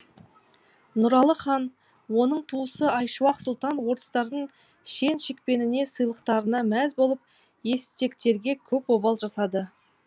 нұралы хан оның туысы айшуақ сұлтан орыстардың шен шекпеніне сыйлықтарына мәз болып естектерге көп обал жасады